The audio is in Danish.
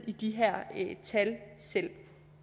i de her tal selv